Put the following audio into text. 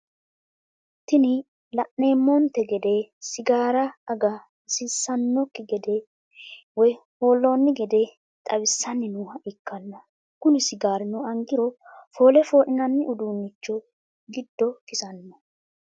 Tini laenomonote gede sigara ag’a hasissanoki gede woy holloni gede xawwisanni noha ikana kuni sigarrino angiro foole foolinanni udunicho gido kisano.